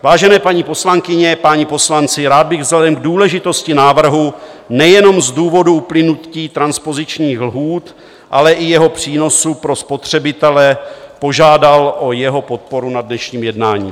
Vážené paní poslankyně, páni poslanci, rád bych vzhledem k důležitosti návrhu - nejenom z důvodu uplynutí transpozičních lhůt, ale i jeho přínosu pro spotřebitele - požádal o jeho podporu na dnešním jednání.